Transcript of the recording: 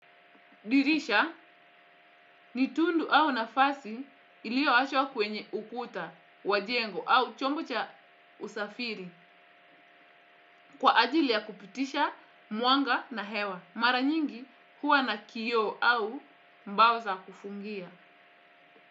Dirisha ni tundu au nafasi ilioachwa kwenye ukuta wa jengo au chombo cha usafiri kwa ajili ya kupitisha mwanga na hewa. Mara nyingi huwa na kioo au mbao za kufungia.